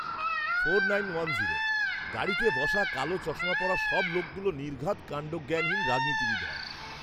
গাড়িতে বসা কালো চশমা পরা সব লোকগুলো নির্ঘাৎ কাণ্ডজ্ঞানহীন রাজনীতিবিদ হয়!